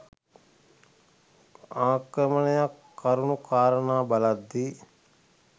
ආක්‍රමණයක් කරුණු කාරණා බලද්දී